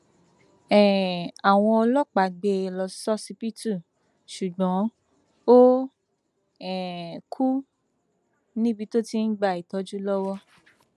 um àwọn ọlọpàá gbé e lọ ṣọsibítù ṣùgbọn ó um kù níbi tó ti ń gba ìtọjú lọwọ